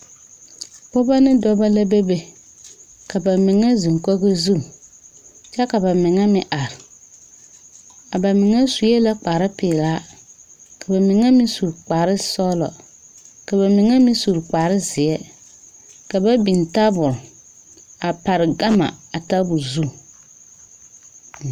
Pɔgeba ne dɔba la bebe ka ba mine zeŋ kogi zu kyɛ ka ba mine meŋ are a ba mine sue la kparepelaa ka ba mine meŋ su kparesɔglɔ ka ba mine meŋ su kparezeɛ ka ba biŋ tabol a pare gama a tabol zu.